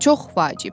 Çox vacib.